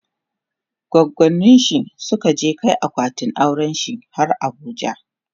goggoninshi Suka je Kai akwatin aurenshi har abuja